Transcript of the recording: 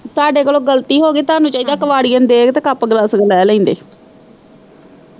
ਤਾਡੇ ਕੋਲੋਂ ਗਲਤੀ ਹੋਗੀ ਤੁਹਾਨੂੰ ਚਾਹੀਦਾ ਕਿ ਕਬਾੜੀਆ ਨੂੰ ਦੇ ਕੇ ਕੱਪ ਗਲਾਸੀਆ ਲੈ ਲੈਂਦੇ।